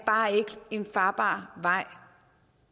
en farbar vej